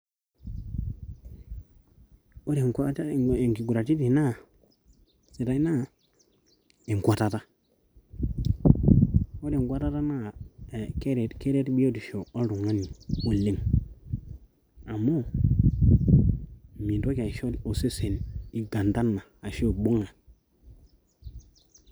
ore enkautata eimu inkuguraritin sidai naa enkwatata. ore enkwatat naa keret biotisho oltungani oleng. amu mintoki aisho osesen igandana aashu ibung'a.